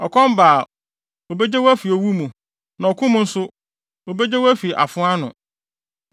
Ɔkɔm ba a, obegye wo afi owu mu, na ɔko mu nso, obegye wo afi afoa ano.